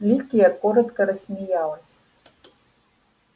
ликия коротко рассмеялась